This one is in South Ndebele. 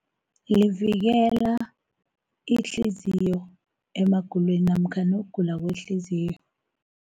Livikela, ihliziyo emagulweni namkhana ukugula kwehliziyo.